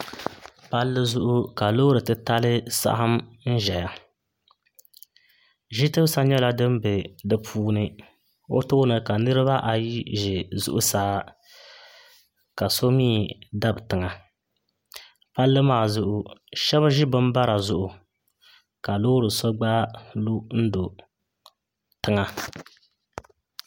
Palli zuɣu ka loori titali saɣam n ʒɛya ʒi tibisa nyɛla din bɛ di puuni o tooni ka niraba ayi ʒɛ zuɣusaa ka so mii dabi tiŋa palli maa zuɣu shab ʒi bin bara zuɣu ka loori so gba lu n do tiŋa